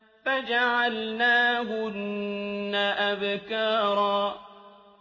فَجَعَلْنَاهُنَّ أَبْكَارًا